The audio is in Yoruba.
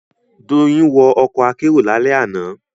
Doyin wọ ọkọ̀ akérò lálẹ́ àná